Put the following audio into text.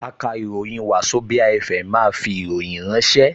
Akàròyìn Wazobia FM máa fi ìròyìn ránṣẹ́